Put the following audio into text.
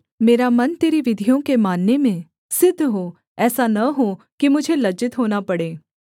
मेरा मन तेरी विधियों के मानने में सिद्ध हो ऐसा न हो कि मुझे लज्जित होना पड़े